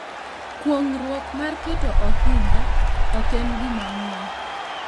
Kuong’ruok mar keto ohinga ok en gima ng’eny,